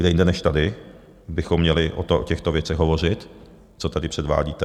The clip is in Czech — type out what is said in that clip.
Kde jinde než tady bychom měli o těchto věcech hovořit, co tady předvádíte?